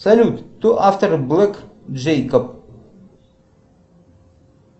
салют кто автор блэк джэйкоб